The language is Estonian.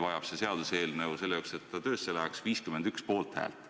Aga see seaduseelnõu vajab selleks, et ta töösse läheks, 51 poolthäält.